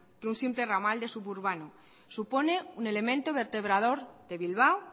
que un simple ramal de suburbano supone un elemento vertebrador de bilbao